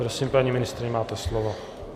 Prosím, paní ministryně, máte slovo.